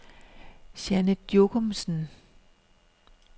Janet Jokumsen